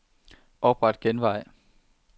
Opret genvej.